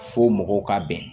Fo mɔgɔw ka bɛn